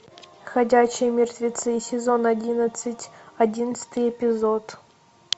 ходячие мертвецы сезон одиннадцать одиннадцатый эпизод